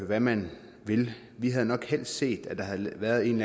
hvad man vil men vi havde nok helst set at der havde været en